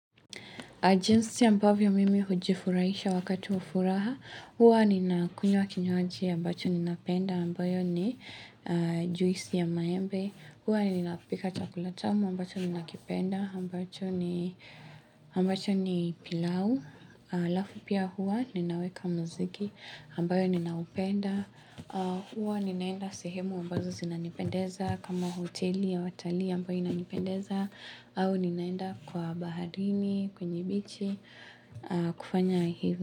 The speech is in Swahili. Jinsi ambavyo mimi hujifuraisha wakati wa furaha. Huwa nina kunywa kinywaji ambacho nina penda ambayo ni juisi ya maembe. Huwa nina pika chakula tamu ambacho nina kipenda ambacho ni pilau. Lafu pia huwa ninaweka mziki ambayo nina upenda. Huwa ninaenda sehemu ambazo zinanipendeza kama hoteli ya watali ambayo inanipendeza. Au ninaenda kwa bahalini, kwenye bichi, kufanya hizi.